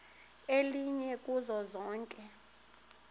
elinye kuzo zonke